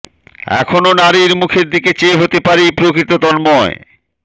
এখনো নারীর মুখের দিকে চেয়ে হতে পারি প্রকৃত তন্ময়